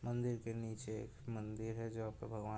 मंदिर के नीचे एक मंदिर है जहाँ पर भगवान --